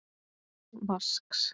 Án vasks.